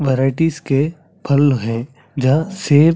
varieties के फल है जहाँ सेब --